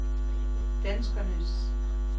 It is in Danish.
danskernes